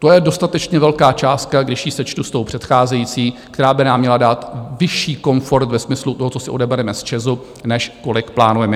To je dostatečně velká částka, když ji sečtu s tou předcházející, která by nám měla dát vyšší komfort ve smyslu toho, co si odebereme z ČEZu, než kolik plánujeme.